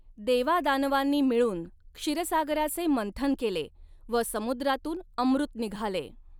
देवादानवांनी मिळून क्षीरसागराचे मंथन केले व समुद्रातून अमृत निघाले.